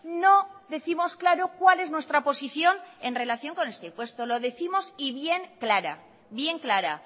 no décimos claro cuál es nuestra posición en relación con este impuesto lo décimos y bien clara bien clara